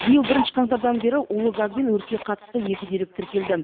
биыл бірінші қаңтардан бері улы газ бен өртке қатысты екі дерек тіркелді